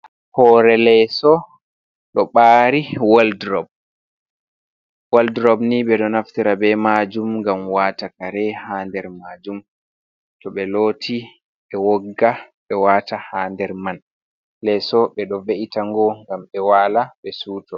"Hoore leeso"ɗo ɓari woldrob woldrob ni ɓeɗo naftira be majum ngam wata kare ha nder majum to ɓe loti ɓe wogga ɓe wata ha nder man leso ɓeɗo ve’itango ngam ɓe wala ɓe suto.